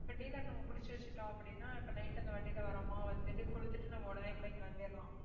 இப்ப dealer நம்ம பிடிச்சு வச்சுட்டோம் அப்படின்னா இப்ப night அந்த வண்டியில வர்றோமா வந்துட்டு கொடுத்துட்டு நம்ம உடனே கூட கிளம்பிடலாம்